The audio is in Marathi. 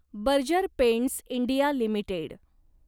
Berger Paints India limited